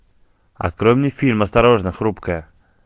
открой мне фильм осторожно хрупкое